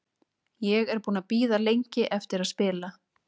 Ég er búinn að bíða lengi eftir að spila.